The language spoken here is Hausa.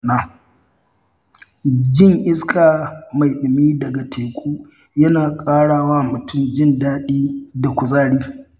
Jin iska mai ɗumi daga teku yana ƙara wa mutum jin daɗi da kuzari.